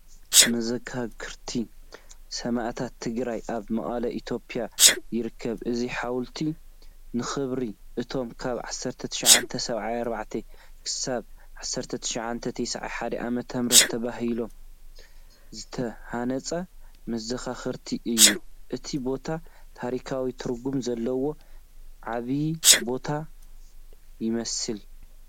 መዘከርታ ሰማእታት ትግራይ ኣብ መቐለ ኢትዮጵያ ይርከብ። እዚ ሓወልቲ ንኽብሪ እቶም ካብ 1974-1991 ዓ.ም. ተባሂሉ ዝተሃነፀ መዘኻኸሪ እዩ፡፡ እቲ ቦታ ታሪኻዊ ትርጉም ዘለዎ ዓቢ ቦታ ይመስል!